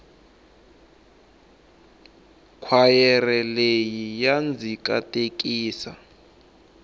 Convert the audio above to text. khwayere leyi ya ndzi katekisa